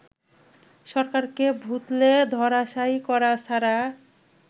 সরকারকে ভূতলে ধরাশায়ী করা ছাড়া